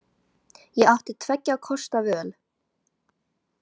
Ég átti tveggja kosta völ.